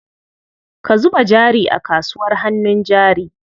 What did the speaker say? Ka zuba jari a kasuwar hannun jari.